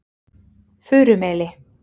Furumeli